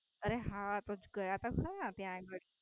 અરે હા ગયા તો ત્યાં અગાળી